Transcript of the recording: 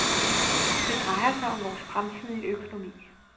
Det drejer sig om vores fremtidige økonomi.